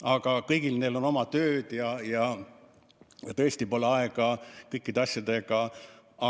Aga kõigil neil on oma tööd ja tõesti pole aega end kõikide asjadega kurssi viia.